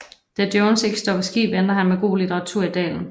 Da Jones ikke står på ski venter han med god litteratur i dalen